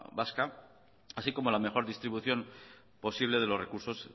vasca así como la mejor distribución posible de los recursos